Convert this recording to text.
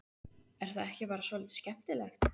Er það ekki bara svolítið skemmtilegt?